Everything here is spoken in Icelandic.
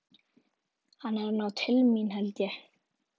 Hann er að ná til mín, held ég.